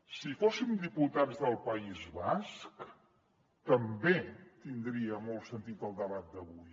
si fóssim diputats del país basc també tindria molt sentit el debat d’avui